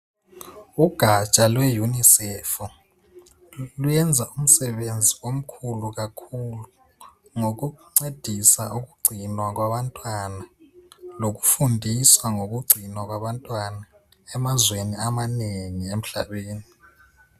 Ugaja lweUNICEF luyenza umsebenzi omkhulu kakhulu ngokuncedisa ukugcinwa kwabantwana lokufundisa ngokugcinwa kwabantwana emazweni amanengi emhlabeni.